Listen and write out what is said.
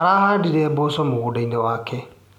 Arahandire mboco mũgũndainĩ wake.